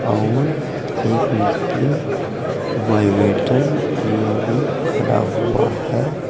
अऊर एक मिस्त्री वाइवेटर लिए भी खड़ा हुआ है।